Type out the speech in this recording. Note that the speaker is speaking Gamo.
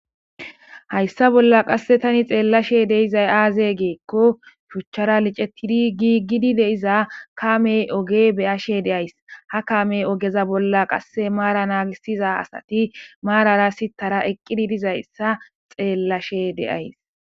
Hayssa bolla qasse tani xeellashe deizay aazey geekko shuchchara licettidi gi gidi deiza kamey oge beyashe deays ha kamey ogeza bolla qasse maara naagisiza asati maarara sitara eqqidi dizayssa xeellashe deyays